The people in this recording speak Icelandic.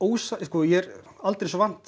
ég er aldrei þessu vant